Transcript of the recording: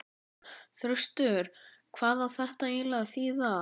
Þröstur, hvað á þetta eiginlega að þýða?!